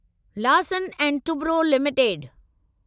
Larsen ऐं Toubro limited